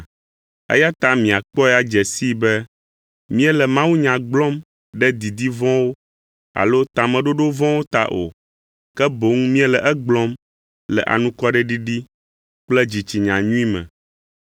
Eya ta miakpɔe adze sii be míele mawunya gblɔm ɖe didi vɔ̃wo alo tameɖoɖo vɔ̃wo ta o, ke boŋ míele egblɔm le anukwareɖiɖi kple dzitsinya nyui me,